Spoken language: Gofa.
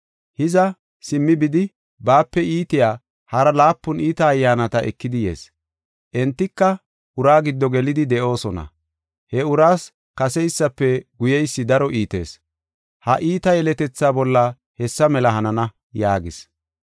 Hiza, simmi bidi, baape iitiya hara laapun iita ayyaanata ekidi yees; entika uraa giddo gelidi de7oosona. He uraas kaseysafe guyeysi daro iitees. Ha iita yeletethaa bolla hessa mela hanana” yaagis.